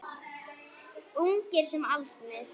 Ungir sem aldnir.